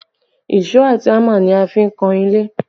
Èṣó àti hámà ni a fi ń kan ilé